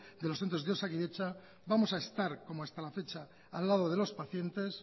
de los centros de osakidetza vamos a estar como hasta la fecha al lado de los pacientes